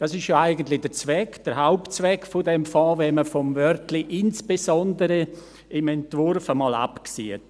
– Dies ist ja eigentlich der Zweck, der Hauptzweck dieses Fonds, wenn man vom Wörtchen «insbesondere» im Entwurf einmal absieht.